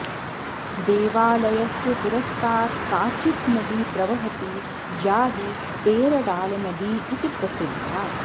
देवालयस्य पुरस्तात् काचित् नदी प्रवहति या हि पेरडालनदी इति प्रसिद्धा